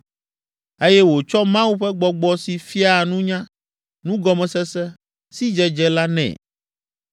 eye wòtsɔ Mawu ƒe gbɔgbɔ si fiaa nunya, nugɔmesese, sidzedze la nɛ.